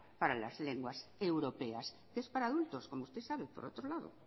para las lenguas europeas que es para adultos como usted sabe por otro lado